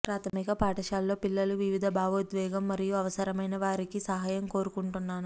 ప్రాథమిక పాఠశాల లో పిల్లలు వివిధ భావోద్వేగం మరియు అవసరమైన వారికి సహాయం కోరుకుంటున్నాను